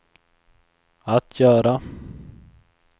att göra